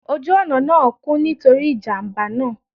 Oju ọna naa kún, nitori ijamba naa.